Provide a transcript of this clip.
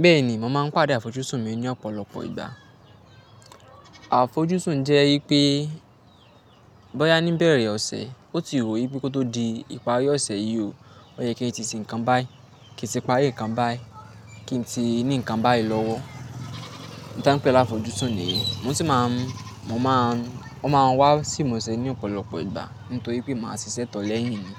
Bẹ́ẹ̀ ni, mo máa ń pàdé àfojúsùn mi ní ọ̀pọ̀lọpọ̀ ìgbà. Àfojúsùn jẹ́ pé bọ́ya ní ìbẹ̀rẹ̀ ọ̀sẹ̀, ó ti wù mí bí kò tó di ìparí ọ̀sẹ̀ yí o, ó yẹ kí n tí sí nǹkan báyìí, kí n tí parí nǹkan báyìí, kí n tí ní nǹkan báyìí lọ́wọ́. Un tàn pé ni àfojúsùn niyen, mo sì máa ń, mo máa ń, o máa ń wá sí ìmuṣẹ́ ní ọ̀pọ̀lọpọ̀ ìgbà nítorí pé màá ṣiṣẹ́ tọ lẹ́yìn ni.